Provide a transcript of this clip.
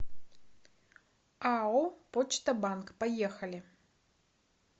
ао почта банк поехали